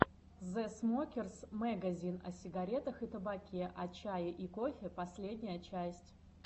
зэ смокерс мэгазин о сигарах и табаке о чае и кофе последняя часть